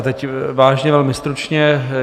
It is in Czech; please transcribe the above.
A teď vážně velmi stručně.